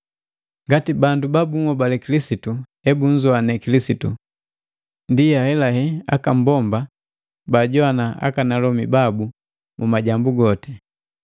Ngati bandu ba bunhobali Kilisitu hebunzoane Kilisitu, ndi ahelahela, aka mbomba bajoannya akalomi babu mu majambu goti.